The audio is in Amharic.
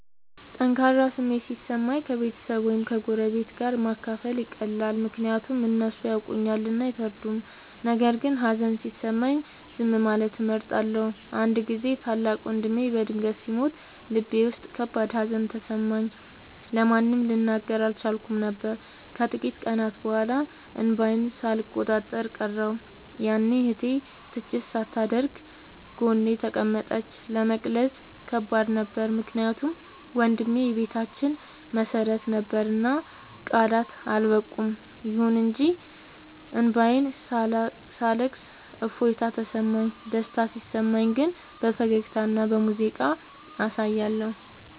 ጠንካራ ስሜት ሲሰማኝ ከቤተሰብ ወይም ከጎረቤት ጋር ማካፈል ይቀላል፤ ምክንያቱም እነሱ ያውቁኛልና አይፈርዱም። ነገር ግን ሀዘን ሲሰማኝ ዝም ማለትን እመርጣለሁ። አንድ ጊዜ ታላቅ ወንድሜ በድንገት ሲሞት ልቤ ውስጥ ከባድ ሀዘን ተሰማኝ፤ ለማንም ልናገር አልቻልኩም ነበር። ከጥቂት ቀናት በኋላ እንባዬን ሳልቆጣጠር ቀረሁ፤ ያኔ እህቴ ትችት ሳታደርግ ጎኔ ተቀመጠች። ለመግለጽ ከባድ ነበር ምክንያቱም ወንድሜ የቤታችን መሰረት ነበርና ቃላት አልበቁም። ይሁን እንጂ እንባዬን ሳለቅስ እፎይታ ተሰማሁ። ደስታ ሲሰማኝ ግን በፈገግታና በሙዚቃ አሳያለሁ።